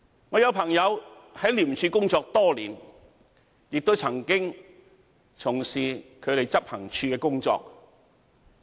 我有朋友在廉署工作多年，亦曾經從事執行處的工作。